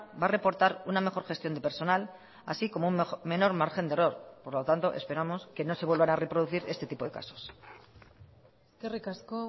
va a reportar una mejor gestión de personal así como un menor margen de error por lo tanto esperamos que no se vuelvan a reproducir este tipo de casos eskerrik asko